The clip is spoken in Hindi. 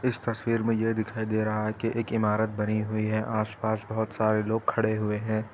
इस तस्वीर में ये दिखाई दे रहा है की एक इमारत बनी हुई है आसपास बहुत सारे लोग खड़े हुए है।